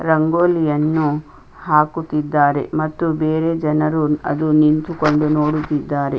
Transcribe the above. ರಂಗೋಲಿಯನ್ನು ಹಾಕುತ್ತಿದ್ದಾರೆ ಮತ್ತು ಬೇರೆ ಜನರು ಅದು ನಿಂತುಕೊಂಡು ನೋಡುತ್ತಿದ್ದಾರೆ .